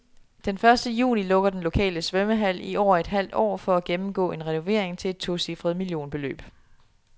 Den første juni lukker den lokale svømmehal i over et halvt år for at gennemgå en renovering til et tocifret millionbeløb.